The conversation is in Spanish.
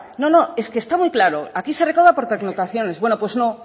no no es que está muy claro aquí se recauda por pernoctaciones bueno pues no